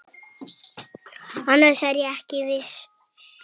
Annars er ég ekki viss.